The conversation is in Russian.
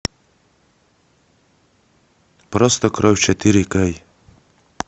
просто кровь четыре кей